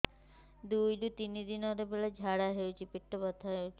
ଦୁଇରୁ ତିନି ଦିନରେ ବେଳେ ଝାଡ଼ା ହେଉଛି ପେଟ ବଥା ହେଉଛି